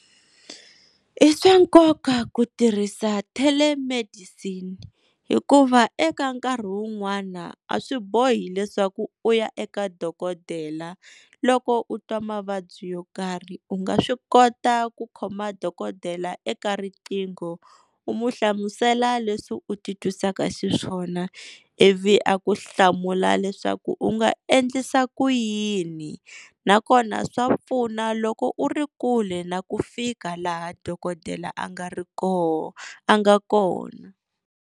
I swa nkoka ku tirhisa telemedicine hikuva eka nkarhi wun'wana a swi bohi leswaku u ya eka dokodela loko u twa mavabyi yo karhi u nga swi kota ku khoma dokodela eka riqingho u mu hlamusela leswi u ti twisaka xiswona ivi a ku hlamula leswaku u nga endlisa ku yini na kona swa pfuna loko u ri kule na ku fika laha dokodela a nga ri koho, a nga kona.